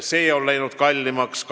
See on läinud kallimaks.